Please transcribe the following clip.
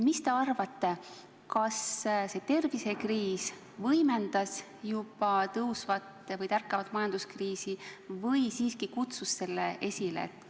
Mis te arvate, kas see tervisekriis võimendas juba tärkavat majanduskriisi või siiski kutsus selle esile?